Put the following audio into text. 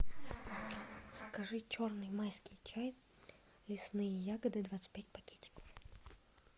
закажи черный майский чай лесные ягоды двадцать пять пакетиков